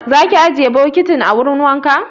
Za ki ajiye bokitin a wurin wanka?